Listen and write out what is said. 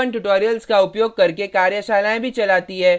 spoken tutorials का उपयोग करके कार्यशालाएँ भी चलाती है